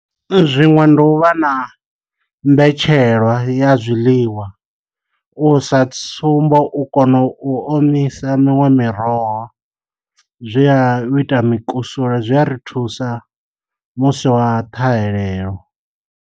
Zwiṅwe ndi u vha na mbetshelwa ya zwiḽiwa u sa tsumbo u kona u omisa miṅwe miroho zwe a u ita mukusule zwi a ri thusa musi wa ṱhahelelo.